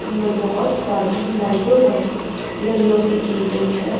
ये बहोत सारी लाइटों वाली लड़ियों से की गई है।